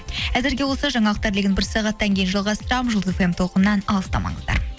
әзірге осы жаңалықтар легін бір сағаттан кейін жалғастырамын жұлдыз фм толқынынан алыстамаңыздар